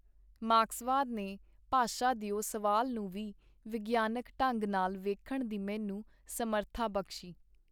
ਮਾਰਕਸਵਾਦ ਨੇ ਭਾਸ਼ਾ ਦਿਓ ਸਵਾਲ ਨੂੰ ਵੀ ਵਿਗਿਆਨਕ ਢੰਗ ਨਾਲ ਵੇਖਣ ਦੀ ਮੈਨੂੰ ਸਮਰਥਾ ਬਖਸ਼ੀ.